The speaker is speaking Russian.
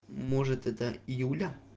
может это юля